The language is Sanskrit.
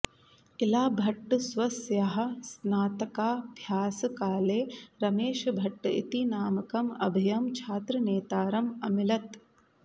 इलाभट्ट स्वस्याः स्नातकाभ्यासकाले रमेशभट्ट इति नामकम् अभयं छात्रनेतारम् अमिलत्